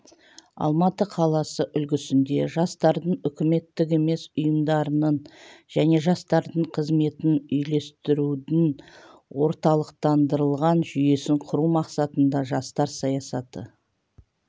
алматы қаласы үлгісінде жастардың үкіметтік емес ұйымдарының және жастардың қызметін үйлестірудің орталықтандырылған жүйесін құру мақсатында жастар саясаты